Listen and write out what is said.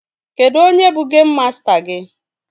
Kedụ onye bụ geim masta gị?